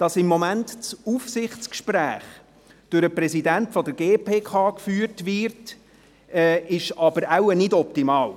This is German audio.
Dass das Aufsichtsgespräch derzeit durch den Präsidenten der GPK geführt wird, ist wohl nicht optimal.